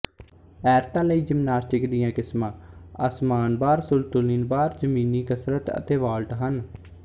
ਐਰਤਾਂ ਲਈ ਜਿਮਨਾਸਟਿਕ ਦੀਆਂ ਕਿਸਮਾ ਅਸਮਾਨ ਬਾਰ ਸੰਤੁਲਿਣ ਬਾਰ ਜਮੀਨੀ ਕਸਰਤ ਅਤੇ ਵਾਲਟ ਹਨ